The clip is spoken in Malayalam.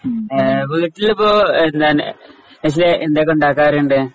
ആഹ് വീട്ടിലിപ്പോ നശ്വല എന്തൊക്കെ ഉണ്ടാക്കാറുണ്ട്.